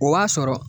O b'a sɔrɔ